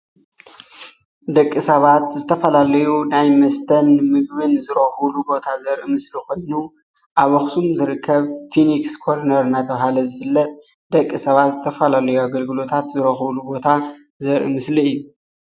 ደቂ ሰባት ዝተፈላለዩ ናይ መስተን ምግብን ዝረክብሉ ቦታ ዘርኢ ምስሊ ኮይኑ ኣብ ኣብ ኣክሱም ዝርከብ ፊኒክስ ኮርነር እንዳተባሃለ ዝፍለጥ ደቂ ሰባት ዝትፈላለየ ኣገልግሎታት ዝርከብሉ ቦታ ዘርኢ ምስሊ እዩ፡፡